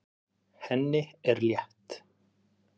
Henni er létt.